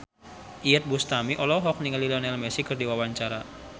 Iyeth Bustami olohok ningali Lionel Messi keur diwawancara